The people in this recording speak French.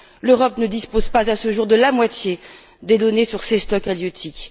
L'Europe ne dispose pas à ce jour de la moitié des données sur ces stocks halieutiques.